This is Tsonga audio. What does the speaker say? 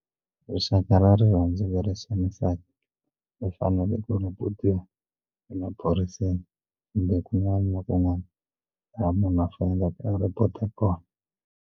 Rixaka ra rirhandziwa ro xanisana ndzi fanele ku ri u emaphoriseni kumbe kun'wana na kun'wana laha munhu a faneleke a report kona.